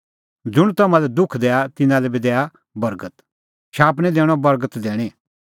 ज़ुंण तम्हां लै दुख दैआ तिन्नां लै बी दैआ बर्गत शाप निं दैणअ बर्गत दैणीं